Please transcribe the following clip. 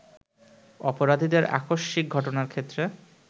অপরাধীদের আকস্মিক ঘটনার ক্ষেত্রে